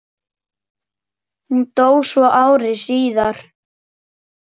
Hún dó svo ári síðar.